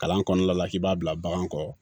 Kalan kɔnɔna la k'i b'a bila bagan kɔrɔ